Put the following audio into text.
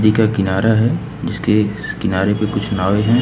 नदी का किनारा है जिसके किनारे पे कुछ नावे हैं।